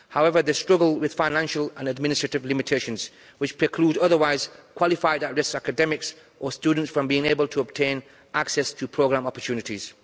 However, they struggle with financial and administrative limitations, which preclude otherwise qualified at risk academics or students from being able to obtain access to programme opportunities.